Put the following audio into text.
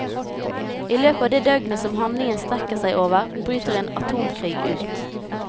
I løpet av det døgnet som handlingen strekker seg over, bryter en atomkrig ut.